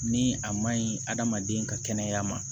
Ni a ma ɲi hadamaden ka kɛnɛya ma